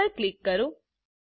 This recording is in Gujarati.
Saveપર ક્લિક કરો